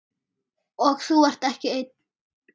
Og þú ert ekki einn.